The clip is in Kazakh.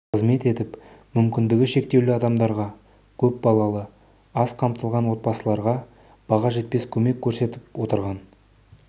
қызмет етіп мүмкіндігі шектеулі адамдарға көп балалы аз қамтылған отбасыларға баға жетпес көмек көрсетіп отырған